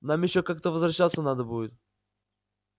нам ещё как-то возвращаться надо будет